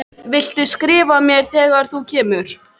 Viltu skrifa mér þegar þú kemur til